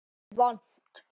Jafnvel vont.